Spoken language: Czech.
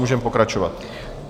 Můžeme pokračovat.